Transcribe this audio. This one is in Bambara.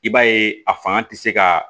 I b'a ye a fanga tɛ se ka